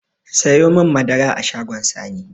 Siyomin madara a shagon sani